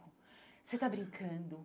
Você está brincando?